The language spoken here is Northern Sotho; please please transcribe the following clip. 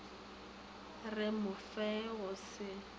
re go fe go se